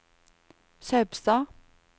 Saupstad